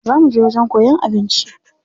Za muje wajen koyan abinci.